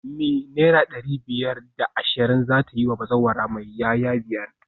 Me naira dari biyar da ashirin zata yiwa bazawara mai 'ya'ya biyar?